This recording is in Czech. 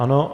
Ano.